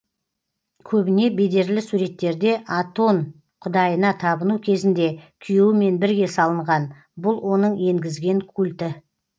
көбіне бедерлі суреттерде атон құдайына табыну кезінде күйеуімен бірге салынған бұл оның енгізген культі